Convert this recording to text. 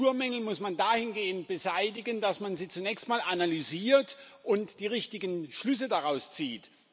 Strukturmängel muss man dahingehend beseitigen, dass man sie zunächst mal analysiert und die richtigen Schlüsse daraus zieht.